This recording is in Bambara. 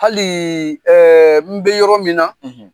Hal n bɛ yɔrɔ min na